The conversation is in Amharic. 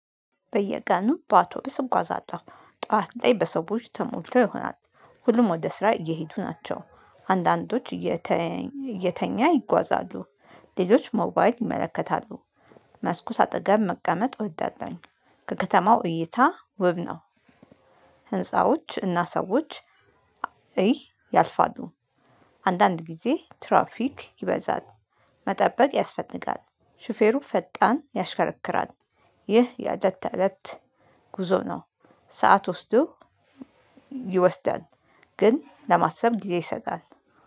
በየቀኑ በአውቶቡስ እጓዛለሁ ጠዋት ላይ በሰዎች ተሞልተው ይሆናል፣ ሁሉም ወደ ስራ እየሄዱ ናቸው፣ አንዳንዶች እየተ እየተኛ ይጓዛሉ። ሌሎች ሞባይል ይመለከታሉ መስኮት አጠገብ መቀመጥ ወዳላሁኝ ከከተማው እይታ ውብ ነው። ህንፃዎች እና ሰዎች እይ ያልፋሉ። አንዳንድ ጊዜ ትራፊክ ይበዛል መጠበቅ ያስፈልጋል ሹፌሩ ፈጣን ያሽከረክራል ይህ የአለት አለት ጉዞ ነው። ሰዓት ወስዶ ይወስዳል ግን ለማሰብ ጊዜ ይሰጣል።